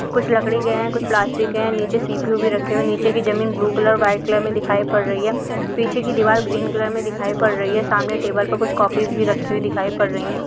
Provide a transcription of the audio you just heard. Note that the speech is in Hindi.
कुछ लकड़ी के हैं कुछ प्लास्टिक के हैं निचे सीपीयु भी रखे हुए है नीचे की ज़मीन ब्लू कलर वाइट कलर में दिखाई पड़ रही है पीछे की दीवार ग्रीन कलर में दिखाई पड़ रही है सामने टेबल पे कुछ कोपीस भी रखी हुई दिखाई पड़ रही है।